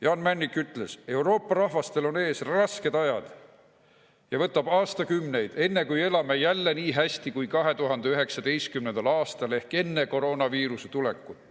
Jaan Männik ütles ka, et Euroopa rahvastel on ees rasked ajad ja võtab aastakümneid, enne kui elame jälle nii hästi kui 2019. aastal ehk enne koroonaviiruse tulekut.